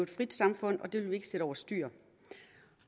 frit samfund og det vil vi ikke sætte overstyr